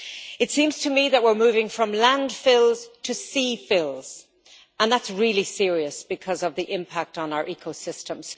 It seems to me that we're moving from landfills to sea fills, and that's really serious because of the impact on our ecosystems.